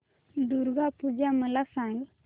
दुर्गा पूजा मला सांग